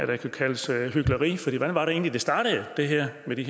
der kunne kaldes hykleri for hvad var det egentlig der startede det her med de